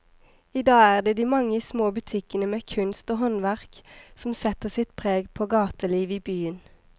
I dag er det de mange små butikkene med kunst og håndverk som setter sitt preg på gatelivet i byen.